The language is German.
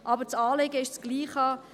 Aber das Anliegen ist dasselbe.